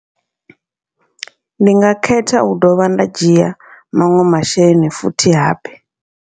Ndi nga khetha u dovha nda dzhia maṅwe masheleni futhi habe.